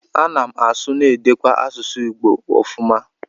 Ana m asụ ma na-edekwa asụsụ Igbo ofuma.